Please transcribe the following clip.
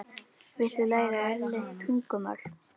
Viltu læra erlent tungumál?